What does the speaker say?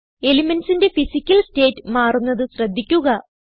Elementsന്റെ physical state മാറുന്നത് ശ്രദ്ധിക്കുക